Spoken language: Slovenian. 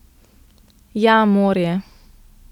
Ja, morje.